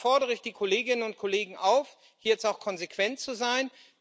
Und da fordere ich die Kolleginnen und Kollegen auf, jetzt auch konsequent zu sein.